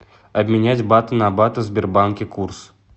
обменять баты на баты в сбербанке курс